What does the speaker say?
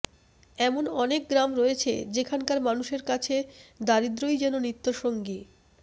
এমন অনেক গ্রাম রয়েছে যেখানকার মানুষের কাছে দারিদ্রই যেন নিত্য সঙ্গী